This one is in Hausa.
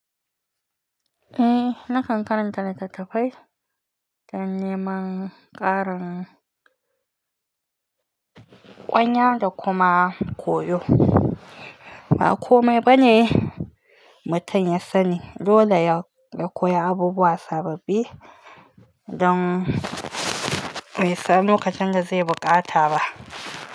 Eh, nakan karanta littattafai dan neman ƙarin ƙwanya da kuma koyo. Ba komai ba ne mutum ya sani, dole ya koyi abubuwa sababbi don bai san lokacin da zai buƙata ba.